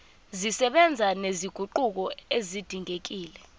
zisebenza nezinguquko ezidingekile